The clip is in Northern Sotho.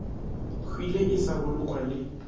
hwile e sa bolokwa le